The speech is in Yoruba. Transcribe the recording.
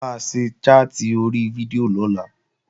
A máa ṣe chat ori fídíò lọ́la